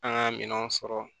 An ka minɛnw sɔrɔ